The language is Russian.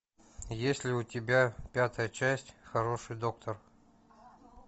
есть ли у тебя пятая часть хороший доктор